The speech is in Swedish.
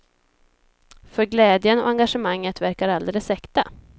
För glädjen och engagemanget verkar alldeles äkta.